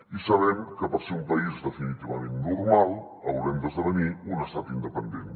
i sabem que per ser un país definitivament normal haurem d’esdevenir un estat independent